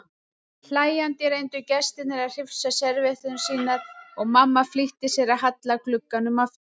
Hlæjandi reyndu gestirnir að hrifsa servíetturnar sínar og mamma flýtti sér að halla glugganum aftur.